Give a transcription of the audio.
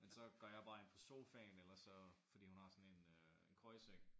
Men så går jeg bare ind på sofaen ellers så fordi hun har sådan en øh en køjeseng